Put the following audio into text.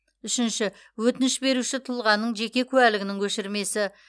үшінші өтініш беруші тұлғаның жеке куәлігінің көшірмесі